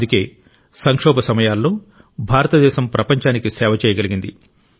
అందుకే సంక్షోభ సమయాల్లో భారతదేశం ప్రపంచానికి సేవ చేయగలిగింది